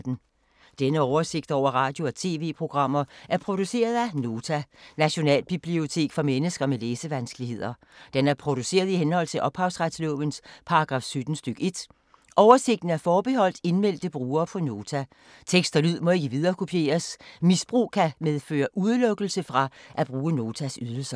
Denne oversigt over radio og TV-programmer er produceret af Nota, Nationalbibliotek for mennesker med læsevanskeligheder. Den er produceret i henhold til ophavsretslovens paragraf 17 stk. 1. Oversigten er forbeholdt indmeldte brugere på Nota. Tekst og lyd må ikke viderekopieres. Misbrug kan medføre udelukkelse fra at bruge Notas ydelser.